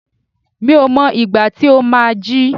Mi ò mọ ìgbà tí ó má á jí.